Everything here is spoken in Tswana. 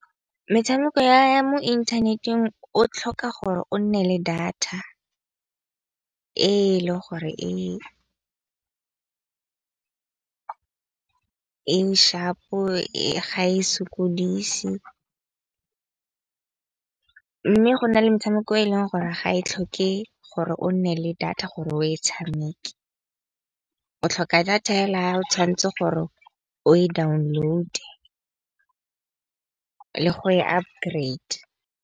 Metshameko ya mo inthaneteng o tlhoka gore o nne le data e le gore e e shapo ga e sokodise. Mme go na le metshameko e leng gore ga e tlhoke gore o nne le data gore o e tshameke, o tlhoka data ga o tshwanetse gore o e download le go e updrade'a.